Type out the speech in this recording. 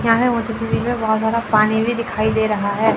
बहोत ज्यादा पानी भी दिखाई दे रहा है।